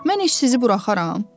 Mən heç sizi buraxaram?